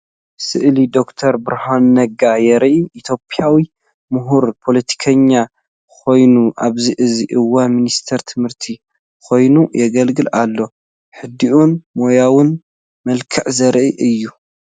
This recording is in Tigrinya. ስእሊ ዶክተር ብርሃኑ ነጋ የርኢ። ኢትዮጵያዊ ምሁርን ፖለቲከኛን ኮይኑ ኣብዚ ሕዚ እዋን ሚኒስትር ትምህርቲ ኮይኑ የገልግል ኣሎ። ህዱእን ሞያውን መልክዕ ዘርኢ እዩ።